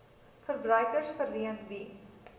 verbruikers verleen wie